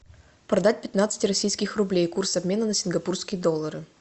продать пятнадцать российских рублей курс обмена на сингапурские доллары